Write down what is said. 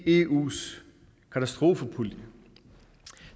eus katastrofepulje